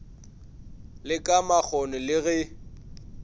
le ka makgoni le ge